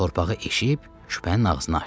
Torpağı eşib küpənin ağzını açdı.